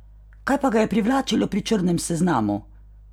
Kaj pa ga je privlačilo pri Črnem seznamu?